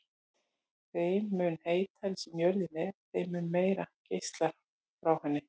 Þeim mun heitari sem jörðin er þeim mun meira geislar hún frá sér.